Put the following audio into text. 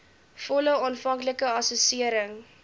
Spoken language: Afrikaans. volle aanvanklike assessering